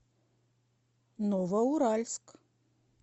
новоуральск